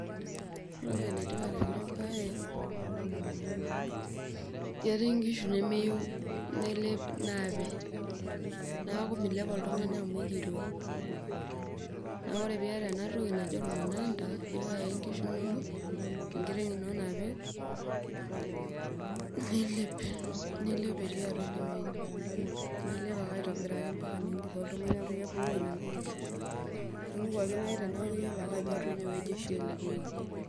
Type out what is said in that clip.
Ore paenetipat enabae ketii nkishu nemeyieu ,naape neaku milep oltungani amu ekirua neaku ore piata enatoki naji ormunada ilo aya nkishu inonok enkiteng ino nape nilep etii atua inewueji, nilep aitobiraki ambaka niindip oltungani amu mipangu nona kishu, nemoku ake neyiolou ajo inewueji oshi elepieki.